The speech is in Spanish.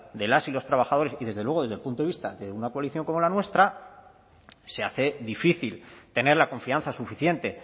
de las y los trabajadores y desde luego desde el punto de vista de una coalición como la nuestra se hace difícil tener la confianza suficiente